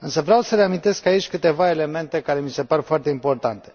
Însă vreau să reamintesc aici câteva elemente care mi se par foarte importante.